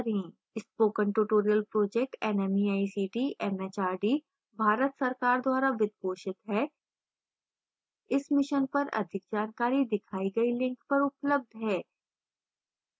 spoken tutorial project nmeict mhrd Bharat सरकार द्वारा वित्त पोषित है इस mission पर अधिक जानकारी दिखाई गई link पर उपलब्ध है